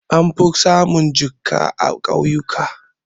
An fi samun jinƙa a ƙauyuka.